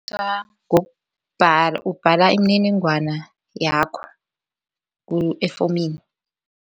ubhala imininingwana yakho efomini.